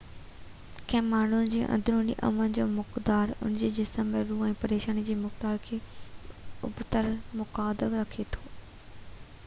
ڪنهن ماڻهو جي اندروني امن جو مقدار ان جي جسم ۽ روح ۾ پريشاني جي مقدار کي ابتڙ مطابقت رکي ٿو